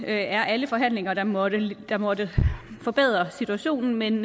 er alle forhandlinger der måtte der måtte forbedre situationen men